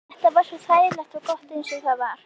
Þetta var svo þægilegt og gott eins og það var.